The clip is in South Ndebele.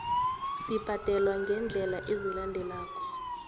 sibhadelwa ngeendlela ezilandelako